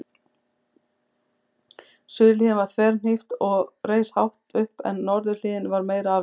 Suðurhliðin var þverhnípt og reis hátt upp en norðurhliðin var meira aflíðandi.